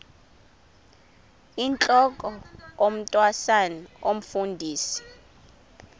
intlok omntwan omfundisi